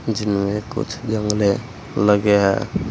इसमें कुछ जंगले लगे हैं।